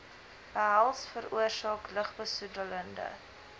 behels veroorsaak lugbesoedelende